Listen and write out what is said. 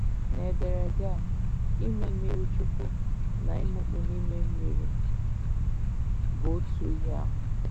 N'ederede a, “ ime mmirichukwu ” na “ imikpu n’ime mmiri ” bụ otu ihe ahụ.